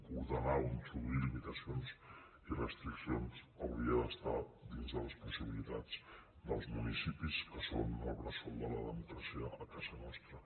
ordenar o introduir limitacions i restriccions hauria d’estar dins de les possibilitats dels municipis que són el bressol de la democràcia a casa nostra